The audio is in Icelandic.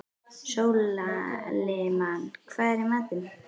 Sólimann, hvað er í matinn?